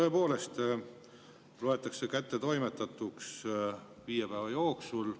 Tõepoolest loetakse kättetoimetatuks viie päeva jooksul.